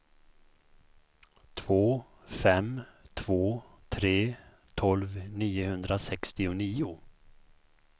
två fem två tre tolv niohundrasextionio